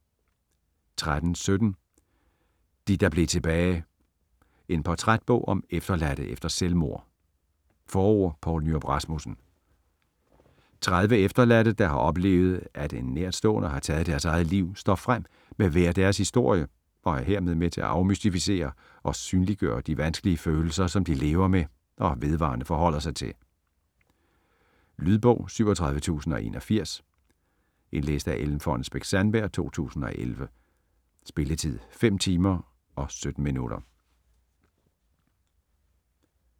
13.17 De der blev tilbage: en portrætbog om efterladte efter selvmord Forord: Poul Nyrup Rasmussen. 30 efterladte, der har oplevet at en nærstående har taget sit eget liv, står frem med hver deres historie og er herved med til at afmystificere og synliggøre de vanskelige følelser, som de lever med og vedvarende forholder sig til. Lydbog 37081 Indlæst af Ellen Fonnesbech-Sandberg, 2011. Spilletid: 5 timer, 17 minutter.